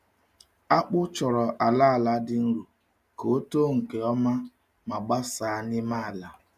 Akpụ chọrọ ala ala dị nro ka ọ too nke ọma ma gbasaa n’ime ala.